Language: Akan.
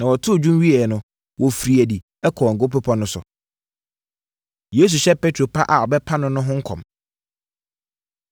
Na wɔtoo dwom wieeɛ no, wɔfirii adi kɔɔ Ngo Bepɔ no so. Yesu Hyɛ Petro Pa A Ɔbɛpa No No Ho Nkɔm